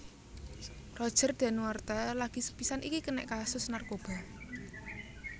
Roger Danuarta lagi sepisan iki kenek kasus narkoba